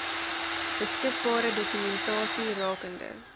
beskikbare dokumentasie rakende